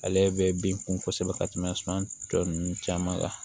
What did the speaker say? Ale bɛ bin kun kosɛbɛ ka tɛmɛ suman tɔ ninnu caman kan